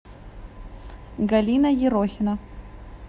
галина ерохина